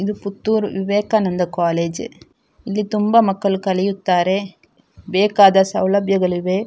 ಇದು ಪುತ್ತೂರ್ ವಿವೇಕಾನಂದ ಕಾಲೇಜ್‌ . ಇಲ್ಲಿ ತುಂಬಾ ಮಕ್ಕಳು ಕಲಿಯುತ್ತಾರೆ. ಬೇಕಾದ ಸೌಲಭ್ಯಗಳಿವೆ.